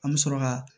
An bɛ sɔrɔ ka